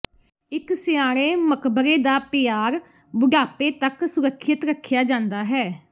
ਇੱਕ ਸਿਆਣੇ ਮਕਬਰੇ ਦਾ ਪਿਆਰ ਬੁਢਾਪੇ ਤੱਕ ਸੁਰੱਖਿਅਤ ਰੱਖਿਆ ਜਾਂਦਾ ਹੈ